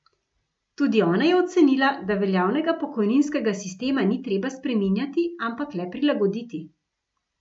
Tudi ona je ocenila, da veljavnega pokojninskega sistema ni treba spreminjati, ampak le prilagoditi.